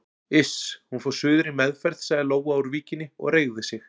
Iss, hún fór suður í meðferð sagði Lóa úr Víkinni og reigði sig.